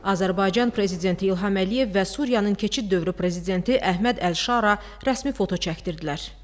Azərbaycan prezidenti İlham Əliyev və Suriyanın keçid dövrü prezidenti Əhməd Əlşara rəsmi foto çəkdirdilər.